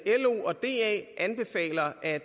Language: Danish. anbefaler at